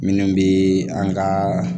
Minnu bɛ an ka